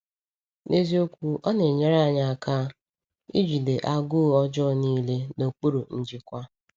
N’eziokwu, ọ na-enyere anyị aka ijide agụụ ọjọọ niile n’okpuru njikwa.